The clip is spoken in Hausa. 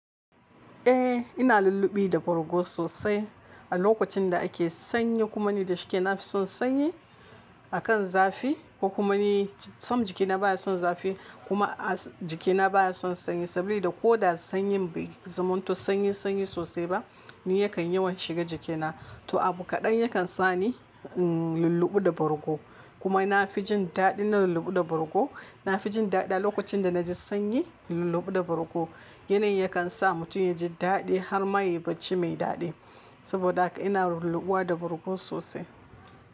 Eh ina lulluɓi da borgo sosai. A lokacin da ake sanyi kuma ni da shike na fi son sanyi a kan zafi ko kuma ni sam jikina baya son zafi kuma jikina baya son sanyi saboda ko da sanyin bai zamanto sanyi sanyi sosai ba ni yakan yawan shiga jikina. To abu kaɗan yakan sa ni in lulluɓi da borgo kuma na fi jin daɗi in na lulluɓi da borgo. Na fi jin daɗi a lokacin da na ji sanyi lulluɓi da borgo. Yanayin yakan sa mutum ya ji daɗi har ma yi bacci mai daɗi. Saboda haka ina lulluɓuwa da borgo sosai.